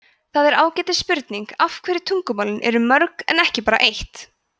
það er ágætis spurning af hverju tungumálin eru mörg en ekki bara eitt